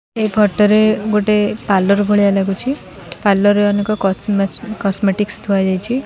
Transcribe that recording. ଏ photo ରେ ଗୋଟେ parlour ଭଳିଆ ଲାଗୁଛି ପାର୍ଲର ଅନେକ କଷ୍ଟ୍ମେ କସମେଟିକ୍ସ ଥୁଆ ଯାଇଛି।